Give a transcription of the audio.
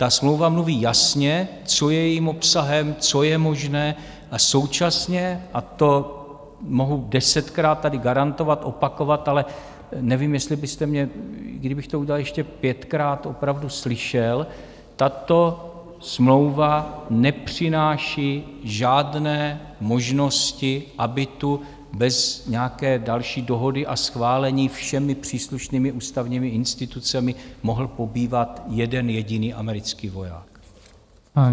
Ta smlouva mluví jasně, co je jejím obsahem, co je možné a současně - a to mohu desetkrát tady garantovat, opakovat, ale nevím, jestli byste mě, kdybych to udělal ještě pětkrát, opravdu slyšel - tato smlouva nepřináší žádné možnosti, aby tu bez nějaké další dohody a schválení všemi příslušnými ústavními institucemi mohl pobývat jeden jediný americký voják.